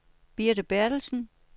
Birte Bertelsen